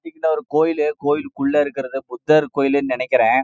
இங்க ஒரு கோவில் புத்தர் னு நினைக்குறேன்